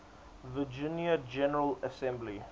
virginia general assembly